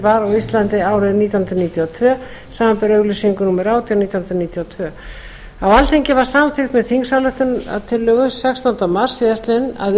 á íslandi árið nítján hundruð níutíu og tvö samanber auglýsingu númer átján nítján hundruð níutíu og tvö á alþingi var samþykkt með þingsályktunartillögu sextánda mars síðastliðinn að